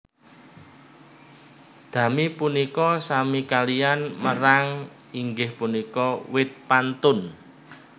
Dami punika sami kaliyan merang inggih punika wit pantun